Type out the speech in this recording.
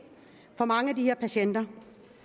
for mange af de her patienter